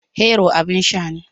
Hero abin sha ne